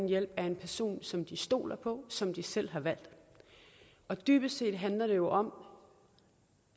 hjælp af den person som de stoler på som de selv har valgt og dybest set handler det om